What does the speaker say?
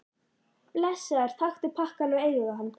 Blessaður, taktu pakkann og eigðu hann.